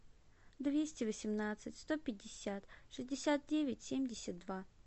двести восемнадцать сто пятьдесят шестьдесят девять семьдесят два